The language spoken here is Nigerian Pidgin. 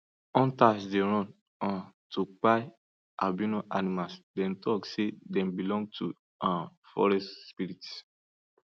hunters dey run um to kpai albino animals them tok say dem belong to um forest spirits